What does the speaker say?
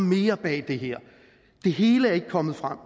mere bag det her det hele er ikke kommet frem